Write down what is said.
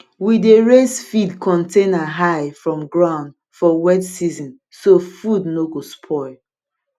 we dey raise feed container high from ground for wet season so food no go spoil